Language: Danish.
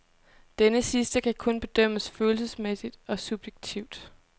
Denne sidste kan kun bedømmes følelsesmæssigt og subjektivt.